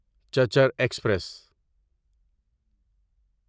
چچر express